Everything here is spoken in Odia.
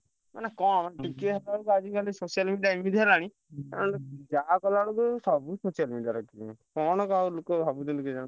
ମାନେ କଣ ମାନେ ଟିକିଏ overalp social media ଏମିତି ହେଲାଣି ମାନେ ଯାହା କଲାବେଳକୁ ସବୁ social media ରେ ରଖୁଛନ୍ତି କଣ ଆଉ ଲୋକ ଭାବୁଛନ୍ତି କେଜାଣି?